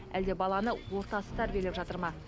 әлде баланы ортасы тәрбиелеп жатыр ма